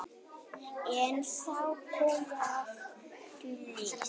En þá kom áfallið.